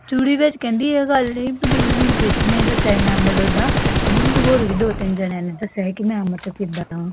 ਵਿਚ ਕਹਿੰਦੀ, ਕਿ ਜੁੜੀ ਮੈਨੂੰ ਕ੍ਰਿਸ਼ ਨੇ ਦਸਿਆ ਸੀ ਮੈਮ ਵੱਲੋਂ, ਕਹਿੰਦੀ ਮੈਨੂੰ ਦੋ ਤਿੰਨ ਜਾਣਿਆਂ ਨੇ ਦਸਿਆ ਸੀ ਕੇ ਮੈਮ ਇਥੇ ਕਿੱਦਾਂ